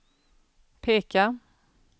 peka